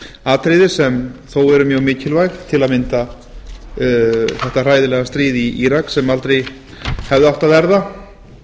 atriði sem þó eru mjög mikilvæg til að mynda þetta hræðilega stríð í írak sem aldrei hefði átt að verða